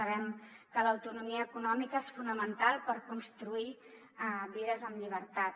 sabem que l’autonomia econòmica és fonamental per construir vides en llibertat